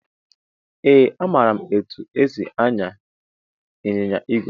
Ee amara etụ esị anya ịnyịnya ìgwè.